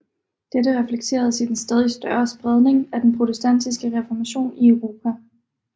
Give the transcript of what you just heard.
Dette reflekteredes i den stadig større spredning af den Protestantiske Reformation i Europa